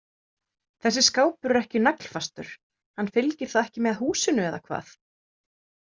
Þessi skápur er ekki naglfastur, hann fylgir þá ekki með húsinu eða hvað?